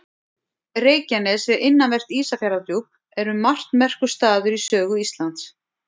Reykjanes við innanvert Ísafjarðardjúp er um margt merkur staður í sögu Íslands.